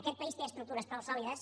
aquest país té estructures prou sòlides